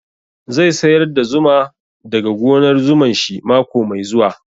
Zai sayar da zuma da ga gonar zuman shi mako mai zuwa